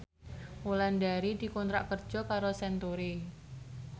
Wulandari dikontrak kerja karo Century